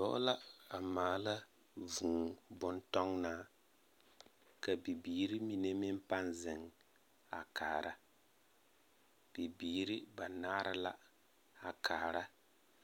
Dɔɔ la a maala vŭŭ-bon-tɔnnaa, ka bibiiri mine meŋ pãã zeŋ a kaara. Bibiiri banaare la a kaara